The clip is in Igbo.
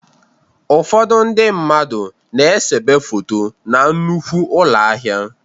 Ụfọdụ ndị mmadụ na-esebe foto na nnukwu ụlọ ahịa.